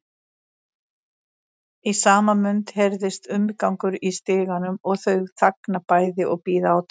Í sama mund heyrist umgangur í stiganum og þau þagna bæði og bíða átekta.